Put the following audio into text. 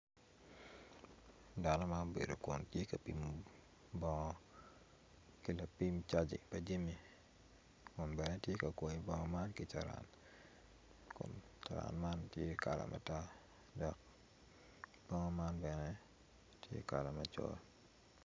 Dano ma obedo kun tye ka pimo bongo ki lapim caji pa jami kun bene tye ka kwoyo bongo man ki carani kun carani man tye kala matar dok bongo man bene tye kala macol.